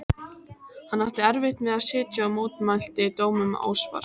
Hann átti erfitt með að sitja og mótmælti dómum óspart.